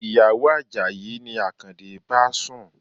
Ìyàwó Àjàyí ni Akande bá sùn.